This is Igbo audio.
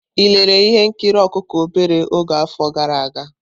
Ị lere ihe nkiri ọkụkọ obere afọ gara aga?